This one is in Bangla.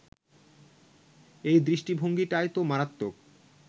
এই দৃষ্টিভঙ্গিটাই তো মারাত্মক